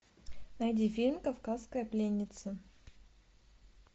найди фильм кавказская пленница